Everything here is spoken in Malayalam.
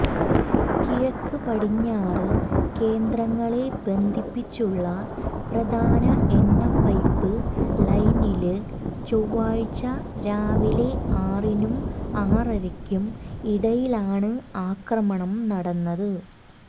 കിഴക്ക് പടിഞ്ഞാറ് കേന്ദ്രങ്ങളെ ബന്ധിപ്പിച്ചുള്ള പ്രധാന എണ്ണപൈപ്പ് ലൈനില് ചൊവ്വാഴ്ച രാവിലെ ആറിനും ആറരക്കും ഇടയിലാണ് ആക്രമണം നടന്നത്